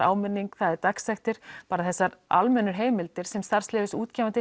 áminningu dagsektir bara þessar almennu heimildir sem